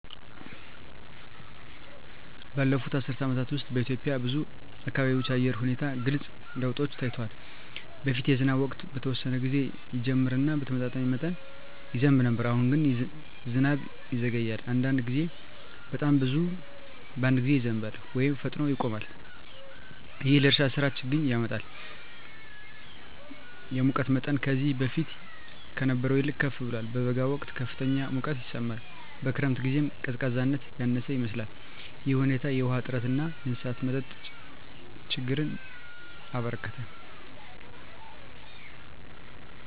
ባለፉት አስርት ዓመታት ውስጥ በኢትዮጵያ ብዙ አካባቢዎች የአየር ሁኔታ ግልጽ ለውጦች ታይተዋል። በፊት የዝናብ ወቅት በተወሰነ ጊዜ ይጀምር እና በተመጣጣኝ መጠን ይዘንብ ነበር። አሁን ግን ዝናብ ይዘገያል፣ አንዳንድ ጊዜም በጣም ብዙ በአንድ ጊዜ ይዘንባል ወይም ፈጥኖ ይቆማል። ይህም ለእርሻ ሥራ ችግኝ ያመጣል። የሙቀት መጠንም ከዚህ በፊት ከነበረው ይልቅ ከፍ ብሏል። በበጋ ወቅት ከፍተኛ ሙቀት ይሰማል፣ በክረምት ጊዜም ቀዝቃዛነት ያነሰ ይመስላል። ይህ ሁኔታ የውሃ እጥረትን እና የእንስሳት መጠጥ ችግኝን አበረከተ።